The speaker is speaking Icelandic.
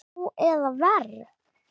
Nú eða verr.